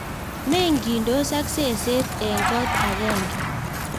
Mengitos ak seset eng kot agenge